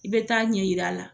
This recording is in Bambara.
I bɛ taa ɲɛ yir'a la.